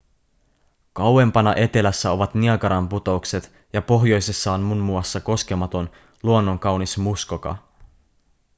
kauempana etelässä ovat niagaran putoukset ja pohjoisessa on muun muassa koskematon luonnonkaunis muskoka